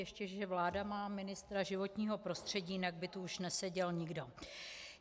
Ještě že vláda má ministra životního prostředí, jinak by tu už neseděl nikdo.